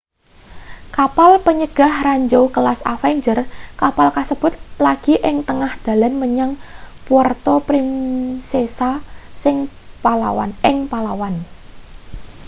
kapal panyegah ranjau kelas avenger kapal kasebut lagi ing tengah dalan menyang puerto princesa ing palawan